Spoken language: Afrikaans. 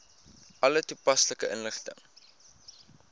alle toepaslike inligting